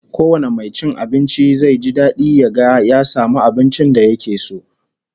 Kowane mai cin abinci zai ji dadi ya ga ya samu abincin da yake so